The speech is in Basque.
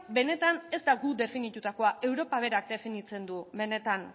benetan ez da guk definitutakoa europak berak definitzen du benetan